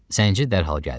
Zənci dərhal gəldi.